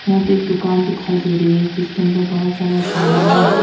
यहां पे एक दुकान दिखाई दे रही है जिसके अंदर बहोत सारा सामान है।